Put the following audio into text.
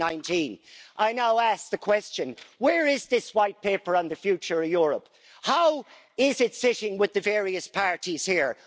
2019. I now ask the question where is this white paper on the future of Europe? How is it sitting with the various parties here?